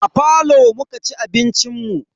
A falo muka ci abincin mu.